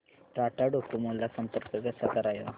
Tata Docomo ला संपर्क कसा करायचा